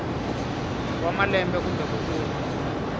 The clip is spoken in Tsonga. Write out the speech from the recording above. wa malembe kumbe ku tlula